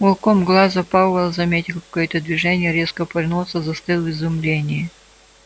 уголком глаза пауэлл заметил какое-то движение резко повернулся и застыл в изумлении